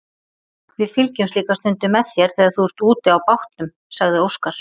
Við fylgjumst líka stundum með þér þegar þú ert úti á bátnum, sagði Óskar.